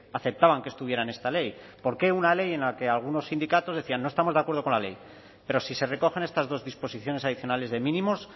aceptaban que estuviera en esta ley por qué una ley en la que algunos sindicatos decían no estamos de acuerdo con la ley pero si se recogen estas dos disposiciones adicionales de mínimos